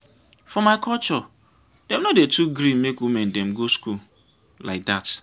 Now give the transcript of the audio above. for my culture dem no dey too gree make women dem go school lai dat.